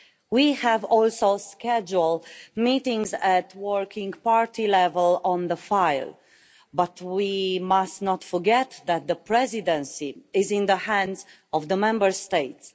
We have also scheduled meetings at working-party level on the file, but we must not forget that the Presidency is in the hands of the Member States.